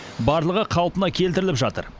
барлығы қалпына келтіріліп жатыр